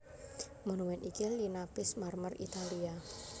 Monumèn iki linapis marmer Italia